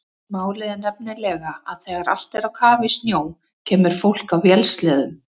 Málið er nefnilega að þegar allt er á kafi í snjó kemur fólk á vélsleðum.